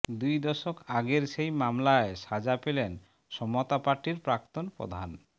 দুই দশক আগের সেই মামলায় সাজা পেলেন সমতা পার্টির প্রাক্তন প্রধান